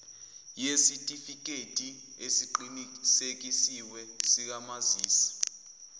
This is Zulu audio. yesitifikedi esiqinisekisiwe sikamazisi